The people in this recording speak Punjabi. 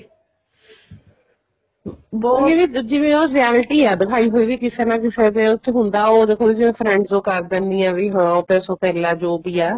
ਨਹੀਂ ਜਿਵੇਂ ਉਹ reality ਆ ਦਿਖਾਈ ਹੋਈ ਵੀ ਕਿਸੇ ਨਾ ਕਿਸੇ ਦੇ ਉਹ ਚ ਹੁੰਦਾ ਉਹ ਕੁੱਝ friends ਉਹ ਕਰ ਦਿੰਦੀਆਂ ਉਹ ਤੇ ਸੋਤੇਲਾ ਜੋ ਵੀ ਆ